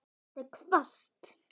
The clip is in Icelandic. Það er hvasst.